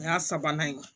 O y'a sabanan ye